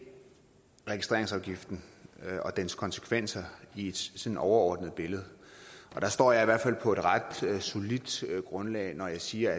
registreringsafgiften og dens konsekvenser i et overordnet billede og der står jeg i hvert fald på ret solidt grundlag når jeg siger